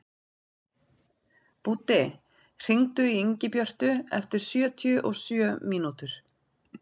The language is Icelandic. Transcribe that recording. Búddi, hringdu í Ingibjörtu eftir sjötíu og sjö mínútur.